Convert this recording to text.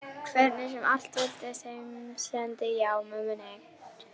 Hvernig sem allt veltist. heimsendi já, mömmu nei.